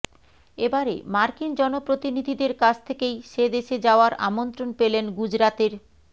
এবারে মার্কিন জনপ্রতিনিধিদের কাছ থেকেই সে দেশে যাওয়ার আমন্ত্রণ পেলেন গুজরাতের